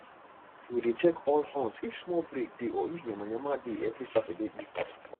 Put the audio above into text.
we dey check all horns if small break dey or if yamayama dey every saturday evening